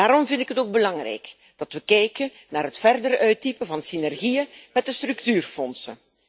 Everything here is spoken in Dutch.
Daarom vind ik het ook belangrijk dat we kijken naar het verder uitdiepen van synergiën met de structuurfondsen.